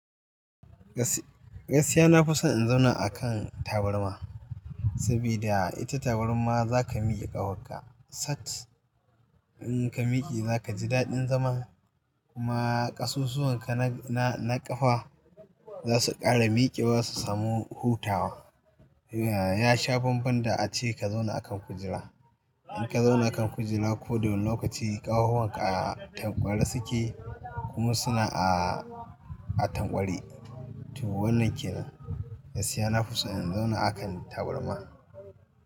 Gasiya na fi son in zauna a kan tabarma, sabida ita tabarma za ka miƙe ƙahwakka. Sat in ka miƙe za ka ji daɗin zaman kuma ƙasusuwan ka na, na ƙafa za su ƙara miƙewa su samu hutawa. Ya sha bamban da ace ka zauna a kan kujera. In ka zauna a kan kujera ko da wane lokaci ƙahohin ka a tanƙware suke kuma suna a, a tanƙware. To wannan kenan, gasiya na fi son in zauna a kan tabarma.